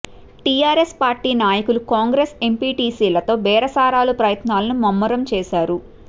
TRS party నాయకులు కాంగ్రెస్ ఎంపీటీసీలతో బేరసారాల ప్రయత్నాలను ముమ్మరం చేశారు